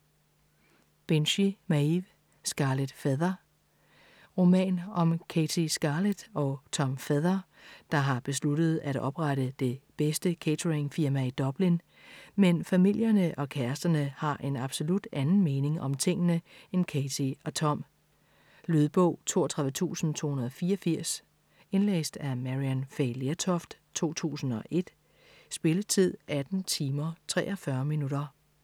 Binchy, Maeve: Scarlet Feather Roman om Cathy Scarlet og Tom Feather der har besluttet at oprette det bedste catering firma i Dublin, men familierne og kæresterne har en absolut anden mening om tingene end Cathy og Tom ... Lydbog 32284 Indlæst af Maryann Fay Lertoft, 2001. Spilletid: 18 timer, 43 minutter.